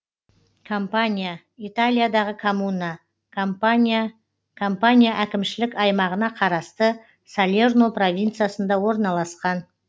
кампанья италиядағы коммуна кампания кампания әкімшілік аймағына қарасты салерно провинциясында орналасқан